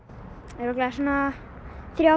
örugglega svona þrjá